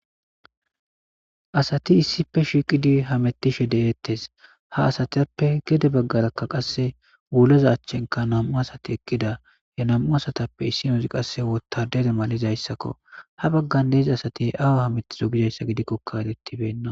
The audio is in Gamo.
Asati issipe shiqidi hamitashe de'etes Ha asatape Gede bagara qasse wulleza achan namu Asati eqida Namu asatape issinazi Qase wotadete mallizaysa ha bagara Deiza asati Gizaysa gidikoka Ereti beyna